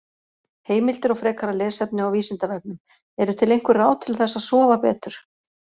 Heimildir og frekara lesefni á Vísindavefnum: Eru til einhver ráð til þess að sofa betur?